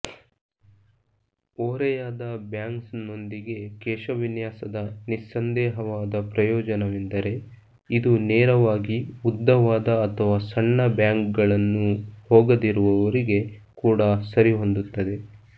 ಓರೆಯಾದ ಬ್ಯಾಂಗ್ಸ್ನೊಂದಿಗೆ ಕೇಶವಿನ್ಯಾಸದ ನಿಸ್ಸಂದೇಹವಾದ ಪ್ರಯೋಜನವೆಂದರೆ ಇದು ನೇರವಾಗಿ ಉದ್ದವಾದ ಅಥವಾ ಸಣ್ಣ ಬ್ಯಾಂಗ್ಗಳನ್ನು ಹೋಗದಿರುವವರಿಗೆ ಕೂಡ ಸರಿಹೊಂದುತ್ತದೆ